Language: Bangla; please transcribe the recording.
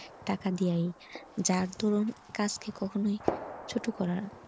টাকা দিয়াই যার ধরুন কাজ কে কখনোই ছোট করা।